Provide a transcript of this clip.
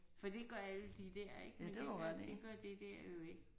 For det gør alle de der ik men det gør det gør det der jo ikke